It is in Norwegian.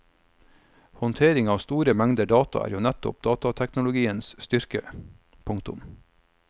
Håndtering av store mengder data er jo nettopp datateknologiens styrke. punktum